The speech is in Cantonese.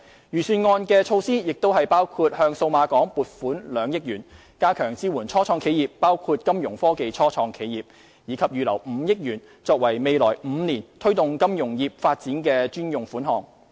預算案的措施包括向數碼港撥款2億元，加強支援初創企業，包括金融科技初創企業，以及預留5億元，作為未來5年推動金融業發展的專用款項。